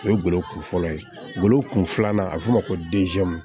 O ye golo kunfɔlɔ ye gɔlɔ kun filanan a bɛ fɔ o ma ko